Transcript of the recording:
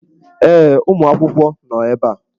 Ee, ụmụ akwụkwọ nọ ebe a.